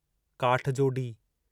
काठजोडी